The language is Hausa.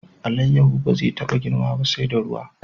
Alayyahu ba zai taba girma ba sai da ruwa.